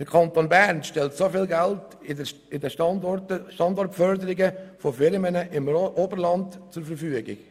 Der Kanton Bern stellt viel Geld zur Standortförderung von Firmen im Oberland zur Verfügung.